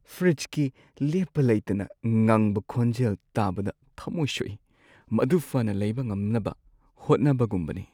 ꯐ꯭ꯔꯤꯖꯀꯤ ꯂꯦꯞꯄ ꯂꯩꯇꯅ ꯉꯪꯕ ꯈꯣꯟꯖꯦꯜ ꯇꯥꯕꯗ ꯊꯃꯣꯏ ꯁꯣꯛꯏ, ꯃꯗꯨ ꯐꯅ ꯂꯩꯕ ꯉꯝꯅꯕ ꯍꯣꯠꯅꯕꯒꯨꯝꯕꯅꯤ꯫